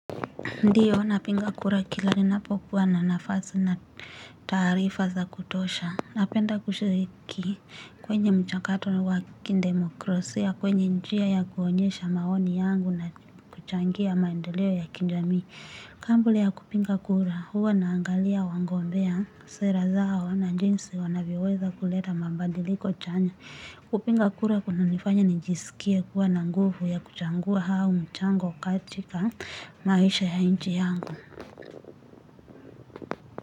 Ndiyo, napiga kura kila ninapokuwa na nafasi na taarifa za kutosha. Napenda kushiriki kwenye mchakato wa kidemokrasia, kwenye njia ya kuonyesha maoni yangu na kuchangia maendeleo ya kijamii. Kabla ya kupiga kura, huwa naangalia wagombea sera zao na jinsi wanavyoweza kuleta mabadiliko chanya. Kupiga kura kunanifanya nijisikie kuwa na nguvu ya kuchagia huo mchango katika maisha ya nchi yangu.